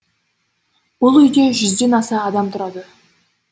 бұл үйде жүзден аса адам тұрады